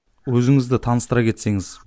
өзіңізді таныстыра кетсеңіз